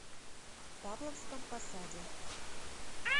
павловском посаде